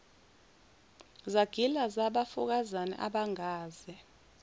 zagila zabafokazana abangaze